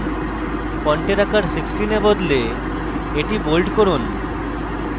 ফন্টের আকার 16 এ বদলে এটি bold করুন